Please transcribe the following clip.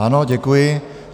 Ano, děkuji.